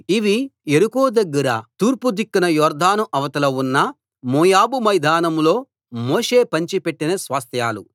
ఇవీ యెరికో దగ్గర తూర్పు దిక్కున యొర్దాను అవతల ఉన్న మోయాబు మైదానంలో మోషే పంచి పెట్టిన స్వాస్థ్యాలు